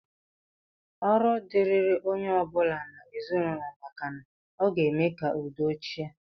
Ọrụ dịịrị onye ọ bụla n'ezinụlọ maka na ọ ga-eme ka udo chịa